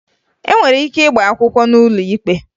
E nwere ike ịgba akwụkwọ n'ụlọ ikpe